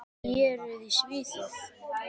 Héruð í Svíþjóð